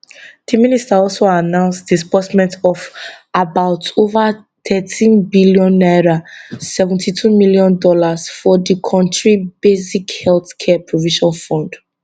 di minister also announce disbursement of about over thirteen billion naira 72 million dollars for di kontri basic health care provision fund